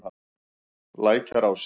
Lækjarási